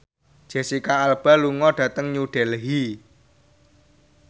Jesicca Alba lunga dhateng New Delhi